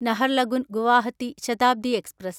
Naharlagun Guwahati Shatabdi express